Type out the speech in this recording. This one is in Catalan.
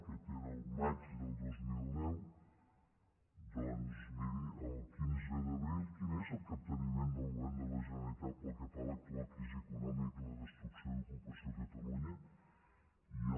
aquesta era el maig del dos mil deu doncs miri el quinze d’abril quin és el capteniment del govern de la generalitat pel que fa a l’actual crisi econòmica i la destrucció d’ocupació a catalunya i el